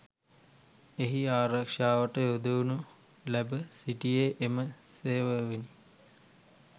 එහි ආරක්ෂාවට යොදවනු ලැබ සිටියේ එම සේවාවෙනි